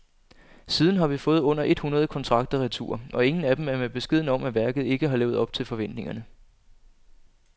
Siden har vi fået under et hundrede kontrakter retur, og ingen af dem er med beskeden om, at værket ikke har levet op til forventningerne.